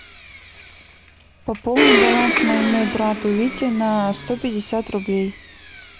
пополни баланс моему брату вите на сто пятьдесят рублей